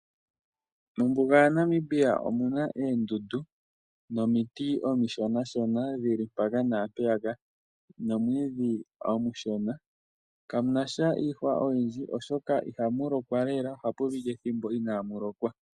Mombuga ya Namibia omuna oondundu nomiti omishona shona dhili mpaka naa mpeyaka nomwidhi omushona, kamunasha iihwa oyindji oshoka ihamu lokwa lela, ohapu piti ethimbo inamu lokwa.